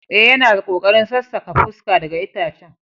Eh, yana kokarin sassaka fuska daga itacen.